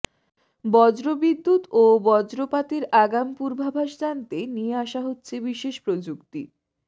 বজ্রবিদ্যুৎ ও বজ্রপাতের আগাম পূর্বাভাস জানতে নিয়ে আসা হচ্ছে বিশেষ প্রযুক্তি